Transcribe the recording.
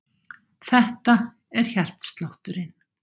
Þetta er hjartslátturinn.